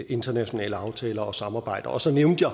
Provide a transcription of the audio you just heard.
internationale aftaler om samarbejde og så nævnte